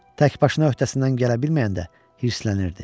Təkbaşına öhdəsindən gələ bilməyəndə hirslənirdi.